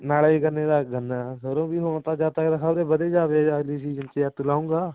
ਨਾਲੇ ਗੰਨੇ ਦਾ ਗੰਨਾ ਸਰੋਂ ਵੀ ਜਦ ਤੱਕ ਖਬਰੇ ਵਧ ਹੀ ਜਾਵੇ ਅਗਲੇ ਸੀਜਨ ਚ ਜਦ ਤੂੰ ਲਾਏਗਾ